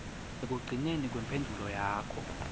ekugcineni kwemphendvulo yakho